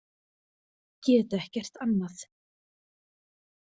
Get ekkert annað.